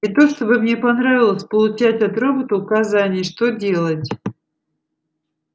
не то чтобы мне понравилось получать от робота указания что делать